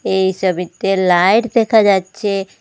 এই সবিতে লাইট দেখা যাচ্ছে।